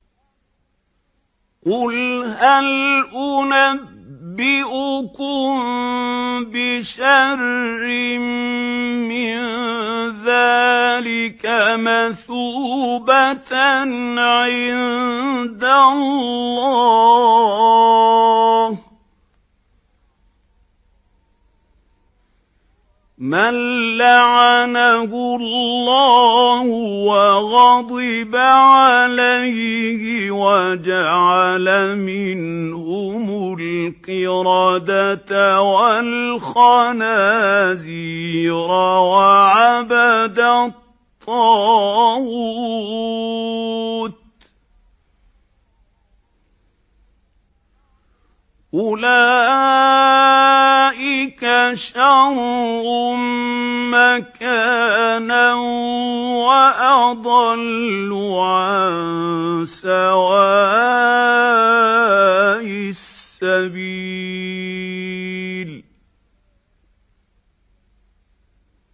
قُلْ هَلْ أُنَبِّئُكُم بِشَرٍّ مِّن ذَٰلِكَ مَثُوبَةً عِندَ اللَّهِ ۚ مَن لَّعَنَهُ اللَّهُ وَغَضِبَ عَلَيْهِ وَجَعَلَ مِنْهُمُ الْقِرَدَةَ وَالْخَنَازِيرَ وَعَبَدَ الطَّاغُوتَ ۚ أُولَٰئِكَ شَرٌّ مَّكَانًا وَأَضَلُّ عَن سَوَاءِ السَّبِيلِ